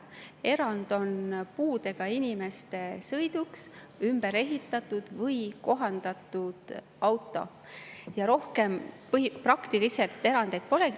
Erand on puudega inimese sõiduks ümber ehitatud või kohandatud auto, rohkem praktiliselt erandeid polegi.